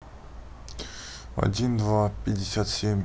один два пятьдесят семь